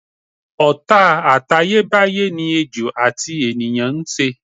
Ò̩tá àtayébáyé ni ejò àti ènìyàn ń s̩e.